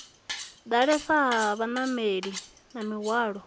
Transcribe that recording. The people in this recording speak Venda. ḓalesa ha vhanameli na mihwalo